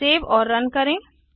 save और run करें